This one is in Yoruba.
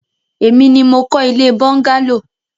Èmi ni mo kọ́ ilé bọ́ńgálò.